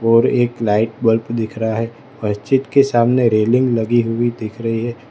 और एक light bulb दिख रहा है मस्जिद के सामने रेलिंग लगी हुई दिख रही है।